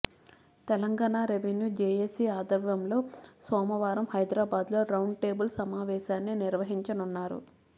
Telangana revenue JAC ఆధ్వర్యంలో సోమవారం హైదరాబాద్లో రౌండ్ టేబుల్ సమావేశాన్ని నిర్వహించనున్నారు